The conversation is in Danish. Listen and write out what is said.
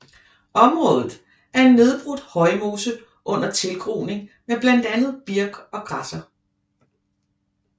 Området er en nedbrudt højmose under tilgroning med blandt andet birk og græsser